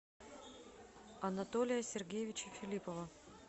анатолия сергеевича филиппова